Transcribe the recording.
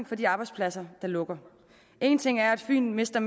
for de arbejdspladser der lukker en ting er at fyn mister